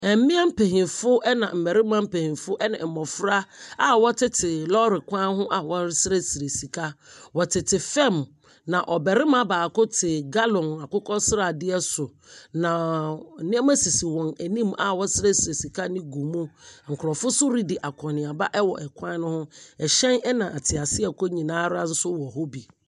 Mmea mpanyimfo ne mmarima mpanyimfo ɛne mmofra a wɔtete lɔɔre kwan ho a wɔresrɛsrɛ sika. Wɔtete fam, na ɔbarima baako te gallon akokɔsrade so. Naaa nneɛma sisi wɔn anim a wɔsrɛsrɛ sika no gu mu. Nkurɔfo nso redi akɔnneaba wɔ kwan no ho. Hyɛn ɛna ateaseakɔ nyinaa nso wɔ hɔ bi.